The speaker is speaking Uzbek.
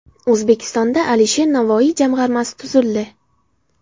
O‘zbekistonda Alisher Navoiy jamg‘armasi tuzildi.